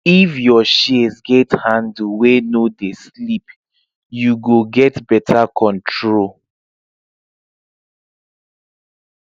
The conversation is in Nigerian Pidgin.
if your shears get handle wey no dey slip you go get better control